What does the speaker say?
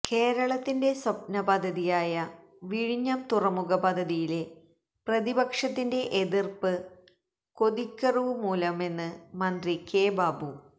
കേരളത്തിന്റെ സ്വപ്നപദ്ധതിയായ വിഴിഞ്ഞം തുറുമുഖ പദ്ധതിയിലെ പ്രതിപക്ഷത്തിന്റെ എതിര്പ്പ് കൊതിക്കെറുവ് മൂലമെന്ന് മന്ത്രി കെ ബാബു